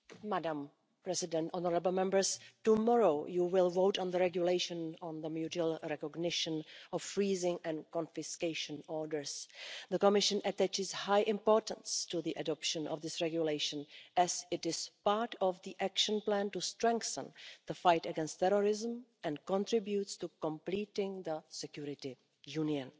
Madam President, honourable Members, tomorrow you will vote on the regulation on the mutual recognition of freezing and confiscation orders. The Commission attaches high importance to the adoption of this regulation as it is part of the action plan to strengthen the fight against terrorism and contributes to completing the Security Union.